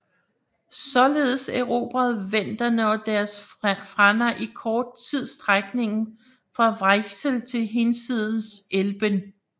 Således erobrede venderne og deres frænder i kort tid strækningen fra Weichsel til hinsides Elben